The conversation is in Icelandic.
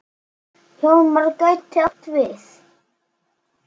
Hjálmar gæti átt við